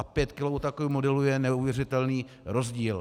A 5 kilo u takového modelu je neuvěřitelný rozdíl.